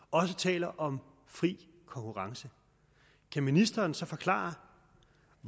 og også taler om fri konkurrence kan ministeren så forklare